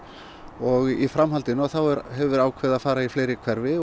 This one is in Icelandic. og í framhaldinu þá hefur verið ákveðið að fara í fleiri hverfi